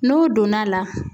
N'o donna la